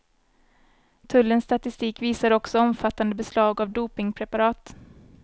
Tullens statistik visar också omfattande beslag av dopingpreparat.